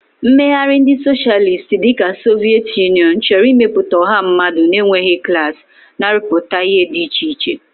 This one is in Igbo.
Mmegharị ndị Socialist dị ka Soviet Union chọrọ ịmepụta ọha mmadụ na-enweghị klas, na-arụpụta ihe dị iche iche.